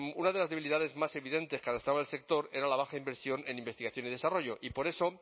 una de las debilidades más evidentes que arrastraba el sector era la baja inversión en investigación y desarrollo y por eso